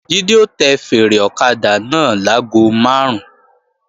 Jídé ó tẹ fèèrè ọ̀kadà náà láago máàrún